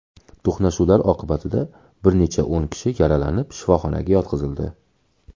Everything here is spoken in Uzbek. To‘qnashuvlar oqibatida bir necha o‘n kishi yaralanib, shifoxonaga yotqizildi.